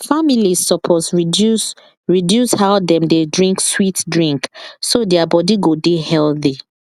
families suppose reduce reduce how dem dey drink sweet drink so their body go dey healthy